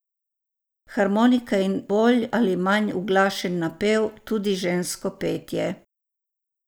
Harmonika in bolj ali manj uglašeni napev, tudi žensko petje.